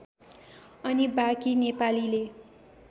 अनि बाँकी नेपालीले